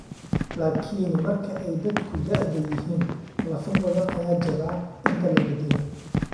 Laakiin marka ay dadku da'da yihiin, lafo badan ayaa jaba inta la beddelo.